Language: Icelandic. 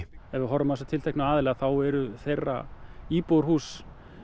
ef við horfum á þessa tilteknu aðila þá eru þeirra íbúðarhús